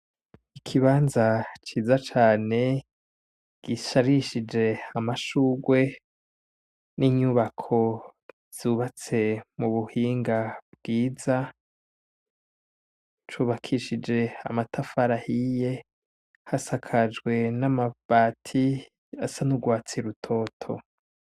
Ikibanza ciza cane gisharishije amashurwe n'inyubako zubatse mubuhinga bwiza , c'ubakishije amatafari ahiye , hasakajwe n'amabati asa n'urwatsi rutoto.